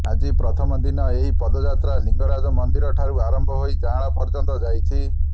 ଆଜି ପ୍ରଥମ ଦିନ ଏହି ପଦଯାତ୍ରା ଲିଙ୍ଗରାଜ ମନ୍ଦିର ଠାରୁ ଆରମ୍ଭ ହୋଇ ଜାଆଁଳା ପର୍ଯ୍ୟନ୍ତ ଯାଇଛି